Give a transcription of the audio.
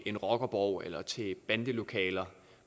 en rockerborg eller til bandelokaler